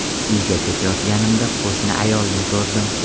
Uyga ketayotganimda qo‘shni ayolni ko‘rdim.